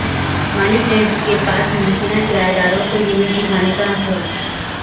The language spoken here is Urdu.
مالک لینڈ کے پاس ممکنہ کرایہ داروں کو یونٹ دکھانے کا حق ہے